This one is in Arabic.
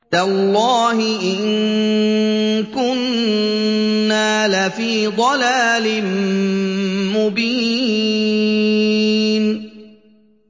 تَاللَّهِ إِن كُنَّا لَفِي ضَلَالٍ مُّبِينٍ